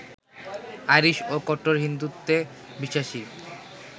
Irish ও কট্টর হিন্দুত্বে বিশ্বাসী